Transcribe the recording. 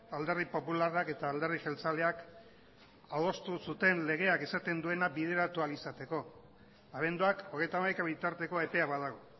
alderdi popularrak eta alderdi jeltzaleak adostu zuten legeak esaten duena bideratu ahal izateko abenduak hogeita hamaika bitarteko epea badago